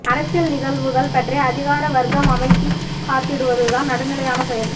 அரசியல் நிகழ்வுகள் பற்றி அதிகார வர்க்கம் அமைதி காத்திடுவதுதான் நடுநிலையான செயல்